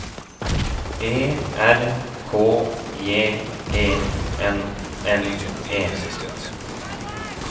E R K J E N N E